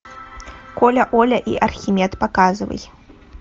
коля оля и архимед показывай